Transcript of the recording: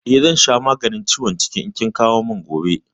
Eh, zan sha maganin ciwon ciki idan kin kawo min gobe.